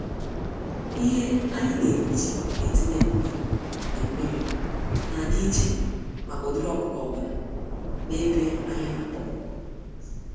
Ihe anyi neji etinye nri na mmiri, na adị íchè màkà ụdịrị ọkụkọ ọbula n'ebe anyị n'akpa ọkụkọ